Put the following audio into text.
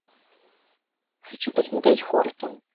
хочу посмотреть хортон